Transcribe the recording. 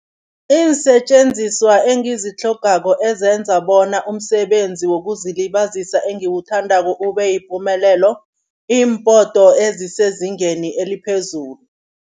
Iinsetjenziswa engizitlhogako ezenza bona umsebenzi wokuzilibazisa engiwuthandako ubeyipumelelo, iimpoto ezisezingeni eliphezulu.